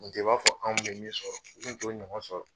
Tun tɛ i b'a fɔ anw bɛ min sɔrɔ u tun t'o ɲɔgɔn sɔrɔ